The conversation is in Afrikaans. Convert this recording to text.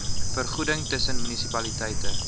vergoeding tussen munisipaliteite